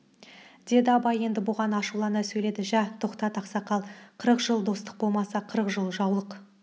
деді абай енді бұған ашулана сөйледі жә тоқтат ақсақал қырық жыл достық болмаса қырық жыл жаулық